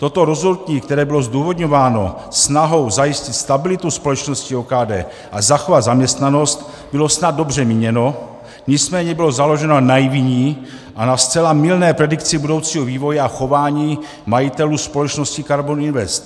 Toto rozhodnutí, které bylo zdůvodňováno snahou zajistit stabilitu společnosti OKD a zachovat zaměstnanost, bylo snad dobře míněno, nicméně bylo založeno na naivní a na zcela mylné predikci budoucího vývoje a chování majitelů společnosti KARBON INVEST.